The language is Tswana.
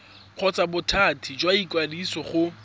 kgotsa bothati jwa ikwadiso go